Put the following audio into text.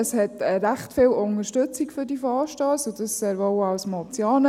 Es gibt recht viel Unterstützung für diese Vorstösse, dies auch in Form von Motionen.